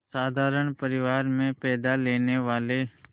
साधारण परिवार में पैदा लेने वाले